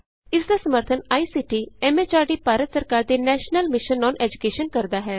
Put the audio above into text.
ਇਸ ਦਾ ਸਮਰੱਥਨ ਆਈਸੀਟੀ ਐਮ ਐਚਆਰਡੀ ਭਾਰਤ ਸਰਕਾਰ ਦੇ ਨੈਸ਼ਨਲ ਮਿਸ਼ਨ ਅੋਨ ਏਜੂਕੈਸ਼ਨ ਕਰਦਾ ਹੈ